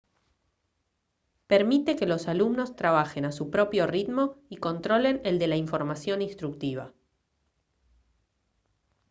permite que los alumnos trabajen a su propio ritmo y controlen el de la información instructiva